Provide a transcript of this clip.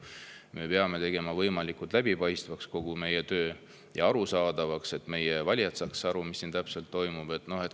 Me peame tegema võimalikult läbipaistvaks ja arusaadavaks kogu meie töö, et meie valijad saaks aru, mis siin täpselt toimub.